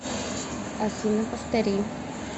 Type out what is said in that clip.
афина повтори